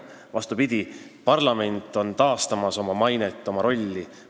Vastupidi, parlament taastab oma mainet ja rolli.